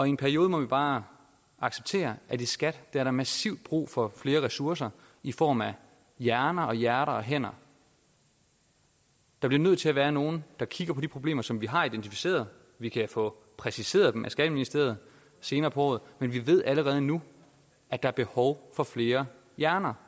i en periode må vi bare acceptere at der i skat er massivt brug for flere ressourcer i form af hjerner og hjerter og hænder der bliver nødt til at være nogen der kigger på de problemer som vi har identificeret vi kan få præciseret dem af skatteministeriet senere på året men vi ved allerede nu at der er behov for flere hjerner